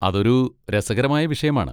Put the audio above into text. അതൊരു രസകരമായ വിഷയമാണ്.